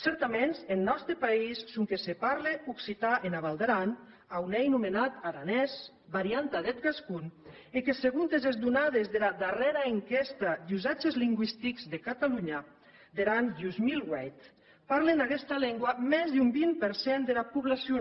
certaments en nòste país sonque se parle occitan ena val d’aran a on ei nomentat aranés varianta deth gascon e que segontes es donades dera darrèra enquèsta d’usatges lingüistics de catalohna der an dos mil vuit parlen aguesta lengua mès d’un vint per cent dera poblacion